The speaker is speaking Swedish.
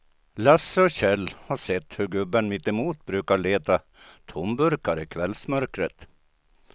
Lasse och Kjell har sett hur gubben mittemot brukar leta tomburkar i kvällsmörkret.